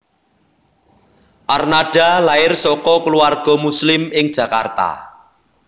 Arnada lair saka keluarga Muslim ing Jakarta